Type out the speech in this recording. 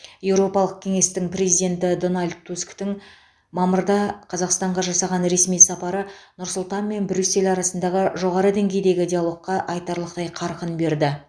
еуропалық кеңестің президенті дональд тусктің мамырда қазақстанға жасаған ресми сапары нұр сұлтан мен брюссель арасындағы жоғары деңгейдегі диалогқа айтарлықтай қарқын берді